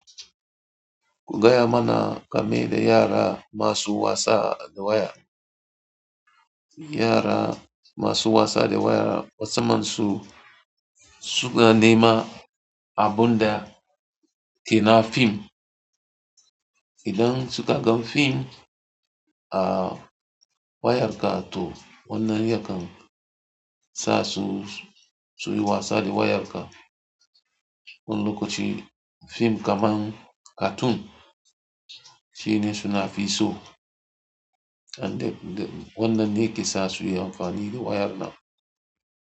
Gaya mana game da yara masu wasa da waya. Yara masu wasa da waya mussaman su su na nema abun da ke na fim. Idan suka gan fim a wayarka to wannan yakan sa su su yi wasa da wayarka. Wani lokaci fim kaman cartoon shine suna fi so and wannan ne ke sa su yi amfani da wayar nan.